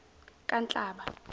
kanhlaba